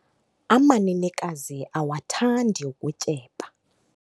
Amanenekazi awathandi ukutyeba.